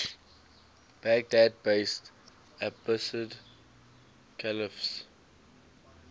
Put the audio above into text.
baghdad based abbasid caliphs